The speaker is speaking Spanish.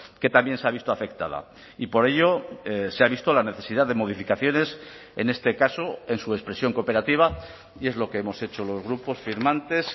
que también se ha visto afectada y por ello se ha visto la necesidad de modificaciones en este caso en su expresión cooperativa y es lo que hemos hecho los grupos firmantes